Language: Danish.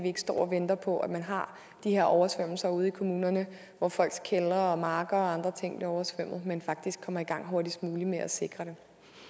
ikke står og venter på at man har de her oversvømmelser ude i kommunerne hvor folks kældre marker og andre ting bliver oversvømmet men faktisk kommer i gang hurtigst muligt med at sikre det